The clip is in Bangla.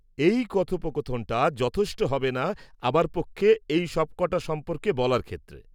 -এই কথোপকথনটা যথেষ্ট হবেনা আমার পক্ষে এই সবক'টা সম্পর্কে বলার ক্ষেত্রে।